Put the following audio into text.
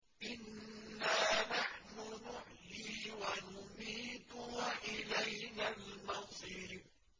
إِنَّا نَحْنُ نُحْيِي وَنُمِيتُ وَإِلَيْنَا الْمَصِيرُ